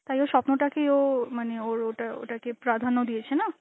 তাই ও স্বপ্নতাকেই ও মানে ওর ওটা~ ওটাকে প্রাধান্য দিয়েছে না?